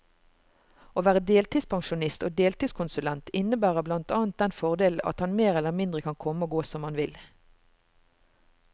Å være deltidspensjonist og deltidskonsulent, innebærer blant annet den fordelen at han mer eller mindre kan komme og gå som han vil.